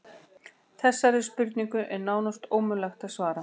Þessari spurningu er nánast ómögulegt að svara.